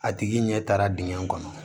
A tigi ɲɛ taara dingɛ kɔnɔ